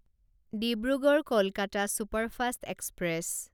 Dibrugarh Kolkata superfast express